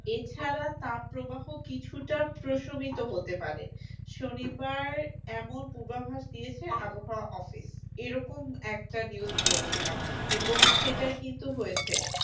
এছাড়া তাপপ্রবাহ কিছুটা প্রশমিত হতে পারে, শনিবার এমন পূর্বাভাস দিয়েছে আবহাওয়া office এরকম একটা news পড়েছিলাম এবং সেটাই কিন্তু হয়েছে